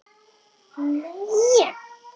Ég get ekkert talað ensku.